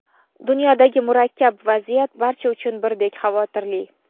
Dunyodagi murakkab vaziyat barcha uchun birdek xavotirli.